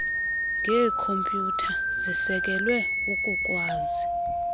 ngeekhompyutha zisekelwe ukukwazi